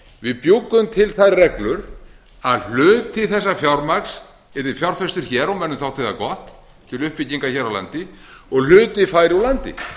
við bjuggum til þær reglur að hluti þessa fjármagnsyrði fjárfesta hér og mönnum þótti það gott til uppbyggingar hér á landi og hluti færi úr landi